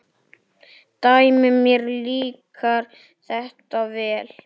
Dæmi: Mér líkar þetta vel.